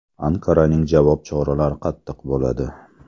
Anqaraning javob choralari qattiq bo‘ladi.